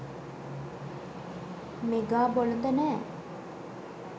mega බොළඳ නෑ